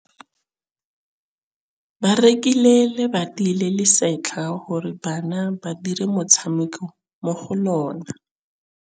Ba rekile lebati le le setlha gore bana ba dire motshameko mo go lona.